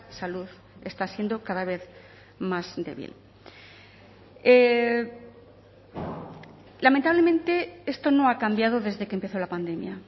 salud está siendo cada vez más débil lamentablemente esto no ha cambiado desde que empezó la pandemia